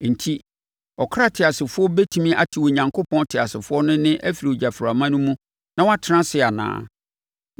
Enti, ɔkra teasefoɔ bɛtumi ate Onyankopɔn teasefoɔ no nne afiri ogyaframa no mu na watena ase anaa?